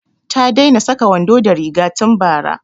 Ta daina saka wando da riga tun bara